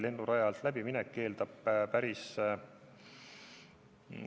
Lennuraja alt läbiminek eeldab päris suurt tööd.